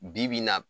Bi-bi in na